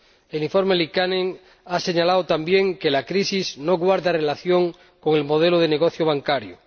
El informe Liikanen ha señalado también que la crisis no guarda relación con el modelo de negocio bancario.